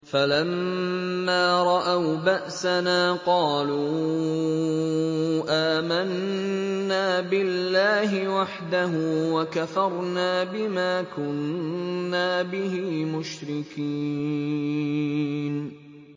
فَلَمَّا رَأَوْا بَأْسَنَا قَالُوا آمَنَّا بِاللَّهِ وَحْدَهُ وَكَفَرْنَا بِمَا كُنَّا بِهِ مُشْرِكِينَ